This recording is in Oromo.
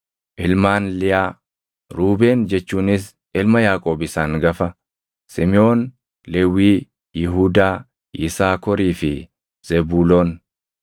Ilmaan Liyaa: Ruubeen jechuunis ilma Yaaqoob isa hangafa, Simiʼoon, Lewwii, Yihuudaa, Yisaakorii fi Zebuuloon.